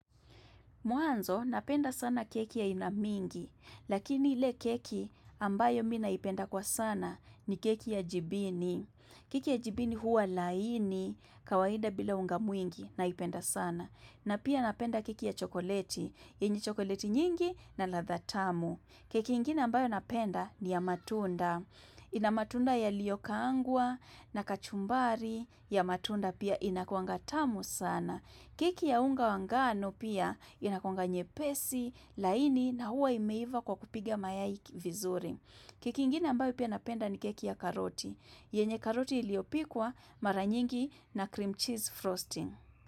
Mwanzo, napenda sana keki ya aina mingi, lakini ile keki ambayo mi naipenda kwa sana ni keki ya jibini. Keki ya jibini huwa laini, kawaida bila unga mwingi, naipenda sana. Na pia napenda keki ya chokoleti, enye chokoleti nyingi na ladha tamu. Keki ingine ambayo napenda ni ya matunda. Ina matunda yaliyo kaangwa na kachumbari, ya matunda pia inakuanga tamu sana. Keki ya unga wa ngano pia inakuanga nyepesi, laini na huwa imeiva kwa kupiga mayai ki vizuri. Keki ingine ambayo pia napenda ni keki ya karoti. Yenye karoti iliopikwa mara nyingi na cream cheese frosting.